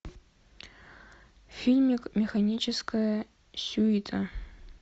фильмик механическая сюита